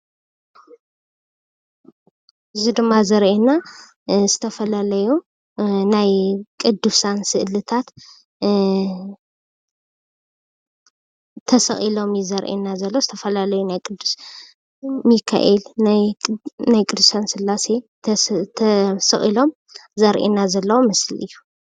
እዚ ድማ ዘሪኤና ዝተፈላለዩ ናይ ቅዱሳን ስእሊታት ተሰቂሎም እዩ ዘሪኤና ዘሎ ዝተፈላለዩ ናይ ቅዱስ ሚካኤል ፥ቅዱሳን ስላሴ ተሰቂሎም ዘሪኤና ዘሎ ምስሊ እዩ፡፡